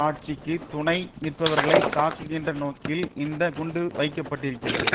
ஆட்சிக்கு துணை நிற்பவர்களைத் தாக்குகின்ற நோக்கில் இந்த குண்டு வைக்க பட்டிருக்கிறது